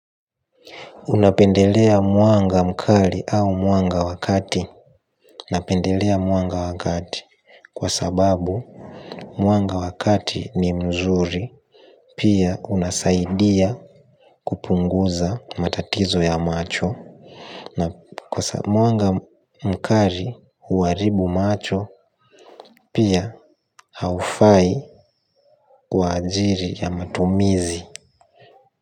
Unapendelea mwanga mkali au mwanga wa kati na pendelea mwanga wa kati kwa sababu mwanga wa kati ni mzuri pia unasaidia kupunguza matatizo ya macho na kwa sababu mwanga mkali huharibu macho pia haufai kwa ajili ya matumizi.